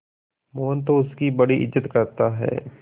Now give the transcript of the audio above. मोहन तो उसकी बड़ी इज्जत करता है